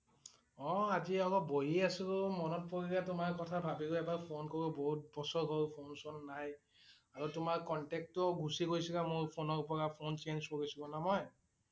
অ' আজি অলপ বহি আছিলোঁ মনত পৰিলে তোমাৰ কথা ভাবিলো এবাৰ কল কৰোঁ বহুত বছৰ হল ফোন-চন নাই। আৰু তোমাৰ contact টোও গুচি গৈছিল মোৰ ফোনৰ পৰা ফোন change কৰিছিলোঁ ন মই